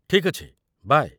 ଠିକ୍ ଅଛି, ବାଏ।